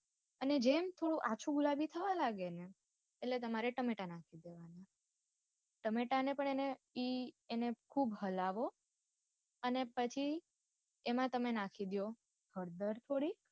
અને જેમ થોડું આછું ગગુલાબી થવા લાગે ને એટલે તમારે ટામેટા નાખી દેવાના ટામેટા ને પણ એને ઈ એને ખુબ હલાવો અને પછી એમાં તમે નાખહી દ્યો થોડી હળદર થોડી.